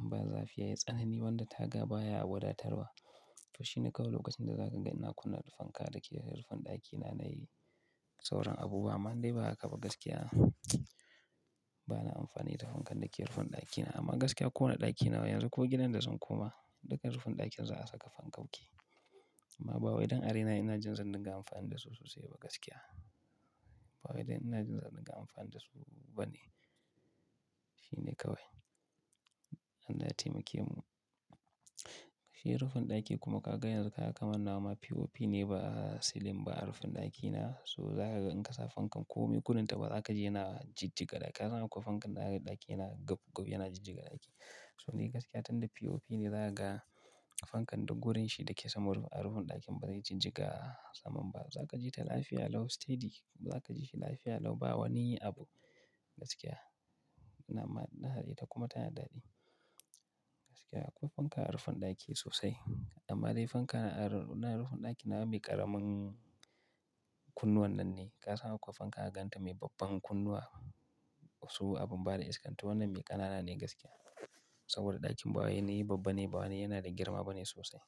inba zafi yayi tsanani ba wanda taga baya wadatar wa to shine kawai lokacin da zakaga na kunna fanka dake rufin daki ranar sauran abubuwa amma indai ba hakaba gaskiya bana amfani da fankan dake rufin dakina amma gaskiya koda dakina yanzu ko gidan da zan koma duka rufin dakin za'a saka fankoki amma bawai dan a raina ina jin zan dunga amfani da su sosai ba gaskiya bawai dan ina jin zan dinga amfani da su bane shine kawai Allah ya temake mu, shi rufin daki kuma kaga yanzu kaga kaman nawa pop ne ba silin ba a rufin dakina to zakaga in kasa fanka komi gudun ta bazaka ji yana jijjiga hakaba kasan akwai fankar daza kaji daki yana gaf gaf yana jijjiga daki. So ni gaskiya tunda P O P ne zakaga fankar duk gurin shi dake sama a rufin daki bazai jijjiga saman ba zakaji ta lafiya lau steady zakaji lafiya lau bawani abu gaskiya. Dama inada ita kuma tana daɗi gaskiya akwai fanka a rufin daki sosai amma dai fanka anan rufin dakin nawa me ƙaramin kunnu wannan ne. Kasan akwai fanka da zaka ganta me babban kunnuwa tsawo abun bada iskar to wannan me ƙanane gaskiya saboda dakin bawai wani babbane bawai yana da girma bane sosai.